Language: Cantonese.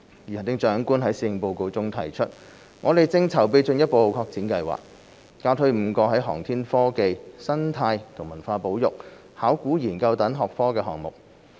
如行政長官在施政報告中提出，我們正籌備進一步擴展計劃，加推5個在航天科技、生態和文化保育、考古研究等學科的項目。